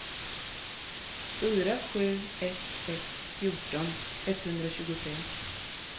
fyra sju ett ett fjorton etthundratjugotre